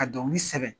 Ka dɔnkili sɛbɛn